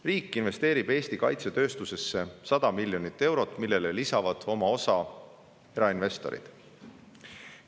Riik investeerib Eesti kaitsetööstusesse 100 miljonit eurot ja oma osa lisavad sellele erainvestorid.